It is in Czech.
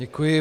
Děkuji.